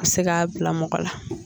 O bɛ se ka bila mɔgɔ la.